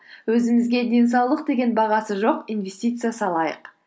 өзімізге денсаулық деген бағасы жоқ инвестиция салайық